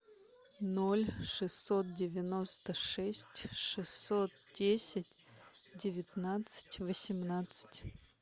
ноль шестьсот девяносто шесть шестьсот десять девятнадцать восемнадцать